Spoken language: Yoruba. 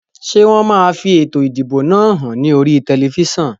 Ṣé wọn máa fi ètò ìdìbò náà hàn ní oríi tẹlifísàn?